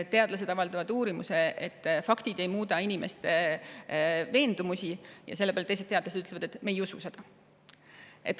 Teadlased avaldavad uurimuse selle kohta, et faktid ei muuda inimeste veendumusi, ja selle peale ütlevad teised teadlased, et me ei usu seda.